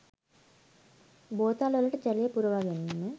බෝතල් වලට ජලය පුරවා ගැනීම